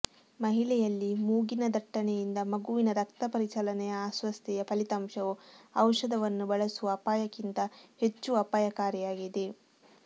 ಮಹಿಳೆಯಲ್ಲಿ ಮೂಗಿನ ದಟ್ಟಣೆಯಿಂದ ಮಗುವಿನ ರಕ್ತಪರಿಚಲನೆಯ ಅಸ್ವಸ್ಥತೆಯ ಫಲಿತಾಂಶವು ಔಷಧವನ್ನು ಬಳಸುವ ಅಪಾಯಕ್ಕಿಂತ ಹೆಚ್ಚು ಅಪಾಯಕಾರಿಯಾಗಿದೆ